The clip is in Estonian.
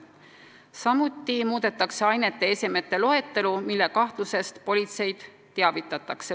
Samuti muudetakse ainete ja esemete loetelu, mille kahtlusest politseid teavitatakse.